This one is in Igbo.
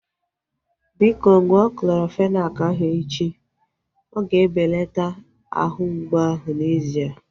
Biko, ṅụọ Clorofenak ahu echi. Oga ebelata ahụ mgbu ahu n'ezie